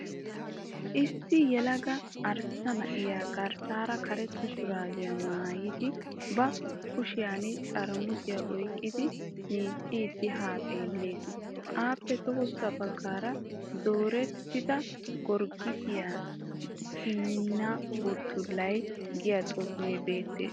Issi yelaga arssa na'ay garssaara karetta shuraabiya maayidi ba kushiyan xaaramusiya oyikkidi miicciiddi haa xeelles. Aappe tohossa baggaara "dosettida gorggisiya simmenna buttullan" giyaa xuufee beettes.